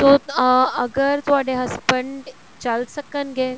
ਸੋ ਅਹ ਅਗਰ ਤੁਹਾਡੇ husband ਚੱਲ ਸਕਣਗੇ